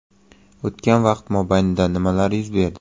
O‘tgan vaqt mobaynida nimalar yuz berdi?